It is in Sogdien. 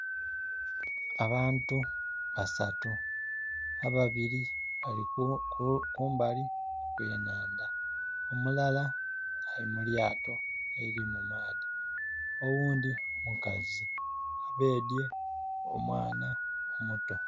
Abantu basatu ababiri bali kumbali okw'enandha omulala ali mu lyato eliri mu maadhi oghundi mukazi ebedye omwana omuto.